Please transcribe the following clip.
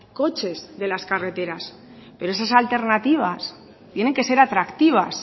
coches de las carreteras pero esas alternativas tienen que ser atractivas